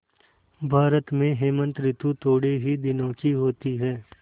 भारत में हेमंत ॠतु थोड़े ही दिनों की होती है